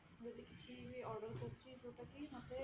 ଯଦି କିଛି ବି order କରୁଛି ଯୋଉଟା କି ମୋତେ